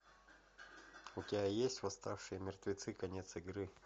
у тебя есть восставшие мертвецы конец игры